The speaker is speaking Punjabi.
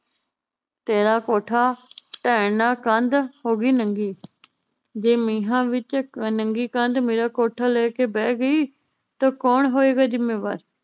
ਤੇਰਾ ਕੋਠਾ ਢਹਿਣ ਨਾ ਕੰਧ ਹੋਗੀ ਨੰਗੀ ਜੇ ਮੀਹਾਂ ਵਿਚ ਕ ਨੰਗੀ ਕੰਧ ਮੇਰਾ ਕੋਠਾ ਲੈ ਕੇ ਬਹਿ ਗਈ ਤਾਂ ਕੌਣ ਹੋਏਗਾ ਜਿੰਮੇਵਾਰ